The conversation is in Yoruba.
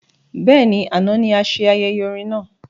Bẹ́ẹ̀ni, àna ní ase ayẹyẹ orin náà